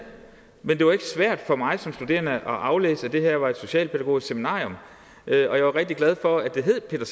men det var ikke svært for mig som studerende at aflæse at det her var et socialpædagogisk seminarium og jeg var rigtig glad for at det hed peter